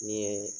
Ni ye